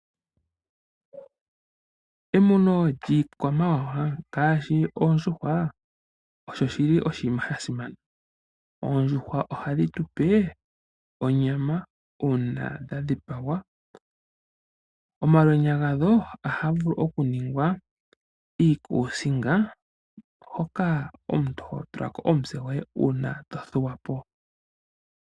Emuno lyiikwamawa ngaashi oondjuhwa , osho oshinima sha simana. Oondjuhwa ohadhi tu pe onyama uuna dha dhipagwa. Omalwenya gadho ohaga vulu okuningwa iikusinga hoka ho tula ko omutse gwoye uuna tothuwa po.